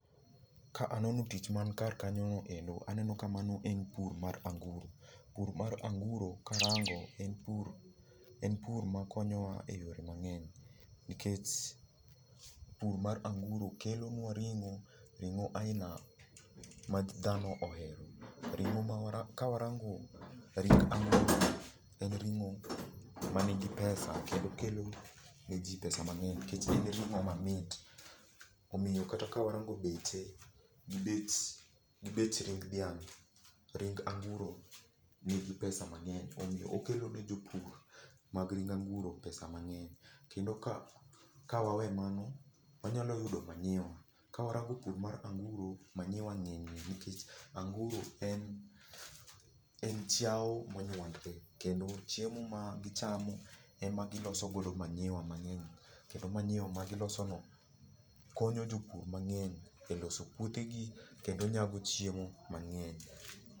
Ka anono tich man kar kanyo noendo, aneno ka mano en pur mar anguro. Pur mar anguro karango en pur, en pur makonyo wa e yore mang'eny. Nikech pur mar anguro kelo nwa ring'o, ring'o aila ma dhano ohero. Ring'o ma kawarango ring anguro, en ring'o ma nigi pesa kendo kelo ne ji pesa mang'eny nikech en ring'o mamit. Omiyo kata ka warango beche gi bech gi bech ring dhiang', ring anguro nigi pesa mang'eny. Omiyo okelo ne jopur mag ring anguro pesa mang'eny. Kendo ka waweyo mano, wanyalo yudo manyiwa. Ka warango pur mar anguro, manyiwa ng'enye. Nikech anguro en, en chiao monyuandre, kendo chiemo ma gichamo e ma giloso godo manyiwa mang'eny. Kendo manyiwa ma giloso no konyo jopur mang'eny e loso puothe gi kendo nyago chiemo mang'eny.